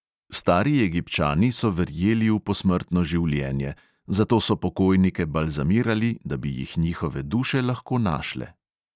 Stari egipčani so verjeli v posmrtno življenje, zato so pokojnike balzamirali, da bi jih njihove duše lahko našle.